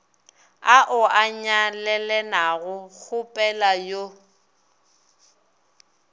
ao a nyalelanago kgopela yo